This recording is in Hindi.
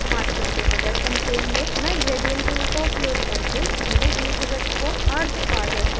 masking के प्रदर्शन के लिए मैं gradient tool का उपयोग करके पहले दीर्घवृत्त को अर्द्ध पारदर्शी बनाऊंगी